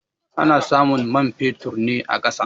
Ana samun man fetur na a ƙasa.